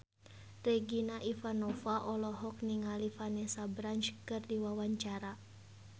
Regina Ivanova olohok ningali Vanessa Branch keur diwawancara